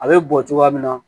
A bɛ bɔ cogoya min na